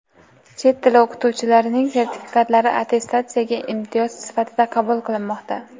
Chet tili o‘qituvchilarining sertifikatlari attestatsiyada imtiyoz sifatida qabul qilinmoqda.